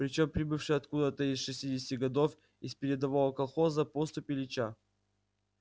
причём прибывший откуда-то из шестидесяти годов из передового колхоза поступь ильича